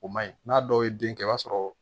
O ma ɲi n'a dɔw ye den kɛ i b'a sɔrɔ